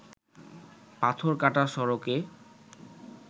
পাথর কাটা সড়কে